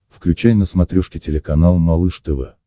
включай на смотрешке телеканал малыш тв